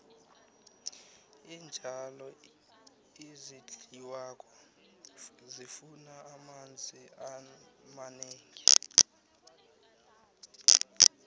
iintjalo ezidliwako zifuna amanzi amanengi